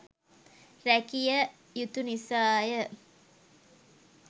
රැකිය යුතු නිසාය.